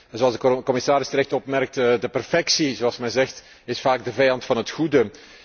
Zoals de commissaris terecht opmerkte, de perfectie zoals men zegt, is vaak de vijand van het goede.